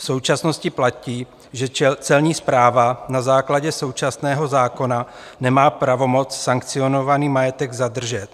V současnosti platí, že Celní správa na základě současného zákona nemá pravomoc sankcionovaný majetek zadržet.